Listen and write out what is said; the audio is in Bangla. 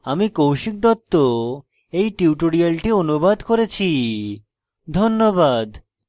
আমি কৌশিক দত্ত এই টিউটোরিয়ালটি অনুবাদ করেছি ধন্যবাদ